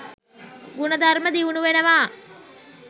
ගුණධර්ම දියුණු වෙනවා.